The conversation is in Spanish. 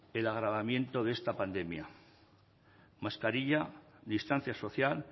el agravamiento de esta pandemia mascarilla distancia social